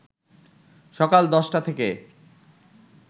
সকাল ১০টা থেকে